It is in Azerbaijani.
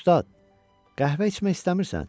Ustad, qəhvə içmək istəmirsən?